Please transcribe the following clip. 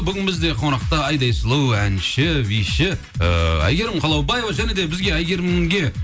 бүгін бізде қонақта айдай сұлу әнші биші ыыы әйгерім қалаубаева және де бізге әйгерімге